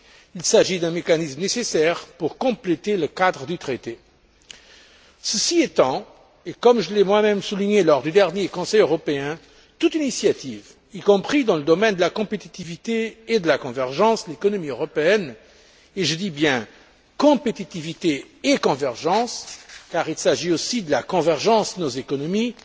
Il s'agit d'un mécanisme nécessaire pour compléter le cadre du traité. Ceci étant, et comme je l'ai moi même souligné lors du dernier Conseil européen, toute initiative y compris dans le domaine de la compétitivité et de la convergence de l'économie européenne, et je dis bien compétitivité et convergence car il s'agit aussi de la convergence de nos économies